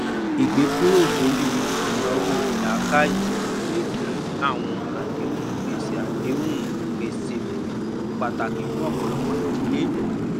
ìgèkúrò lórí ináwó lákáyè lè dín àwọn àdéhùn gbèsè àdéhùn gbèsè kù pàtàkì fún ọpọlọpọ ìdílé